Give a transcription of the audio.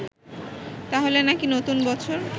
তাহলে নাকি নতুন বছর